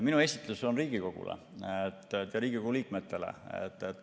Minu esitlus on Riigikogule, Riigikogu liikmetele.